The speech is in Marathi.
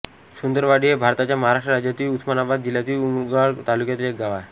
सुंदरवाडी हे भारताच्या महाराष्ट्र राज्यातील उस्मानाबाद जिल्ह्यातील उमरगा तालुक्यातील एक गाव आहे